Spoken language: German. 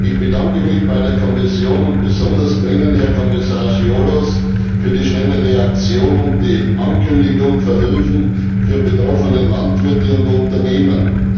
Ich bedanke mich bei der Kommission und besonders bei Ihnen, Herr Kommissar Cioloș, für die schnelle Reaktion und die Ankündigung von Hilfen für betroffene Landwirte und Unternehmen.